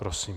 Prosím.